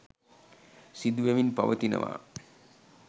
සිදු වෙමින් පවතිනවා.